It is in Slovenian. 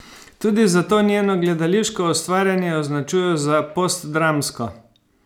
Tudi zato njeno gledališko ustvarjanje označujejo za postdramsko.